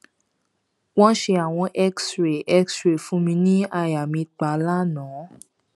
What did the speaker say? wọn ṣe àwọn xray xray fún mi ní àyà mi pa lánàá